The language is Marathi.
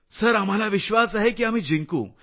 सर आम्हाला विश्वास आहे की आम्ही जिंकू